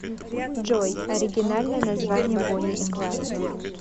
джой оригинальное название бонни и клайд